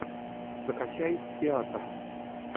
закачай театр